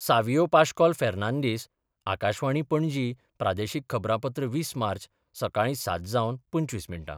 सावियो पाश्कॉल फेर्नांदीस आकाशवाणी, पणजी प्रादेशीक खबरांपत्र वीस मार्च, सकाळी सात जावन पंचवीस मिनीट.